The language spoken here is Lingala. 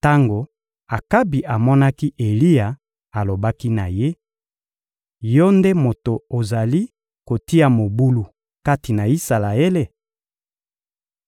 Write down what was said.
Tango Akabi amonaki Eliya alobaki na ye: — Yo nde moto ozali kotia mobulu kati na Isalaele?